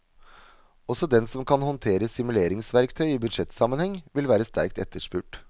Også den som kan håndtere simuleringsverktøy i budsjettsammenheng, vil være sterkt etterspurt.